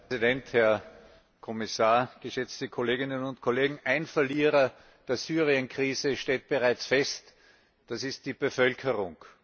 Herr Präsident, Herr Kommissar, geschätzte Kolleginnen und Kollegen! Ein Verlierer der Syrienkrise steht bereits fest Das ist die Bevölkerung!